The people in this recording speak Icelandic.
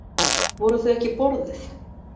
Voru þau ekki borðuð?